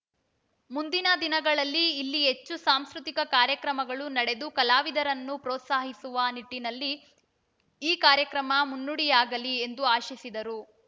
ಮುಂದಿನ ದಿನಗಳಲ್ಲಿ ಇಲ್ಲಿ ಹೆಚ್ಚು ಸಾಂಸ್ಕೃತಿಕ ಕಾರ್ಯಕ್ರಮಗಳು ನಡೆದು ಕಲಾವಿದರನ್ನು ಪ್ರೋತ್ಸಾಹಿಸುವ ನಿಟ್ಟಿನಲ್ಲಿ ಈ ಕಾರ್ಯಕ್ರಮ ಮುನ್ನುಡಿಯಾಗಲಿ ಎಂದು ಆಶಿಸಿದರು